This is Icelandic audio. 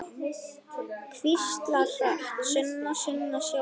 Hvíslar hratt: Sunna, Sunna, sjáðu!